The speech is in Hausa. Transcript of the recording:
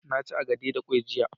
na ci agade da kwai jiya